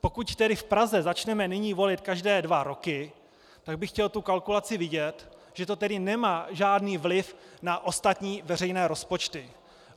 Pokud tedy v Praze začneme nyní volit každé dva roky, tak bych chtěl tu kalkulaci vidět, že to tedy nemá žádný vliv na ostatní veřejné rozpočty.